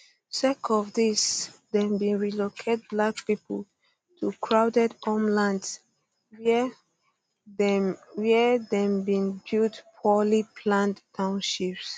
sake of dis dem bin relocate black pipo to crowded homelands wia dem wia dem bin build poorly planned townships